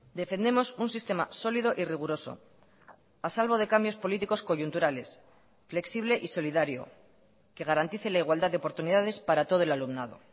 defendemos un sistema sólido y riguroso a salvo de cambios políticos coyunturales flexible y solidario que garantice la igualdad de oportunidades para todo el alumnado